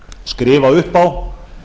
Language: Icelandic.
skrifa upp á